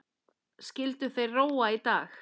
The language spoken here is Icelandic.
Skyldu þeir róa í dag?